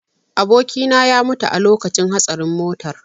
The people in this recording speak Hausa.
Abokina ya mutu a lokacin hatsarin motar.